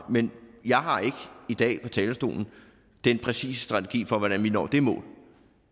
men jeg har ikke i dag fra talerstolen den præcise strategi for hvordan vi når det mål